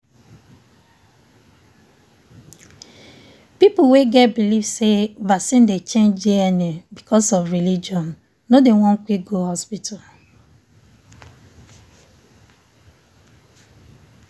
people wey get believe say vaccine dey change dna because of religion no dey won quick go hospital.